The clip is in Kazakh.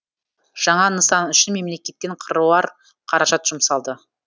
жаңа нысан үшін мемлекеттен қыруар қаражат жұмсалды